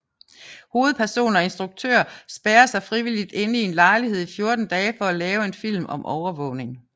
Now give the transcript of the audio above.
Hovedperson og instruktør spærrer sig frivilligt inde i en lejlighed i 14 dage for at lave en film om overvågning